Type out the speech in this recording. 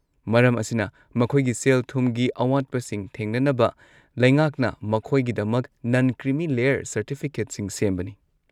ꯃꯔꯝ ꯑꯁꯤꯅ, ꯃꯈꯣꯏꯒꯤ ꯁꯦꯜ-ꯊꯨꯝꯒꯤ ꯑꯋꯥꯠꯄꯁꯤꯡ ꯊꯦꯡꯅꯅꯕ ꯂꯩꯉꯥꯛꯅ ꯃꯈꯣꯏꯒꯤꯗꯃꯛ ꯅꯟ ꯀ꯭ꯔꯤꯃꯤ ꯂꯦꯌꯔ ꯁꯔꯇꯤꯐꯤꯀꯦꯠꯁꯤꯡ ꯁꯦꯝꯕꯅꯤ꯫